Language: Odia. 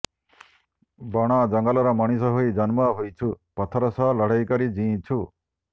ବଣ ଜଙ୍ଗଲର ମଣିଷ ହୋଇ ଜନ୍ମ ହୋଇଛୁ ପଥର ସହ ଲଢ଼େଇକରି ଜିଇଁଛୁ